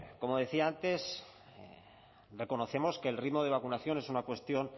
como decía antes reconocemos que el ritmo de vacunación es una cuestión